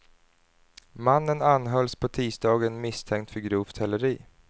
Mannen anhölls på tisdagen misstänkt för grovt häleri.